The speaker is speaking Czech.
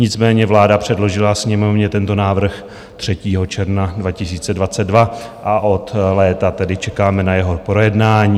Nicméně vláda předložila Sněmovně tento návrh 3. června 2022 a od léta tedy čekáme na jeho projednání.